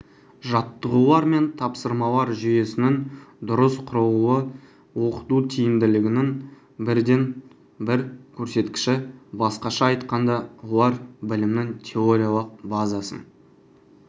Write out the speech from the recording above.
жаттығулар мен тапсырмалар жүйесінің дұрыс құрылуы оқыту тиімділігінің бірден-бір көрсеткіші басқаша айтқанда олар білімнің теориялық базасын